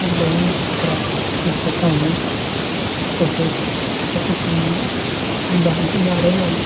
दोन ढोपरा दिसत आहे तसेच त्या ठिकाणी दांडी गाडायला ए --